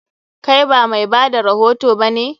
Kai ba mai bada rahoto ba ne?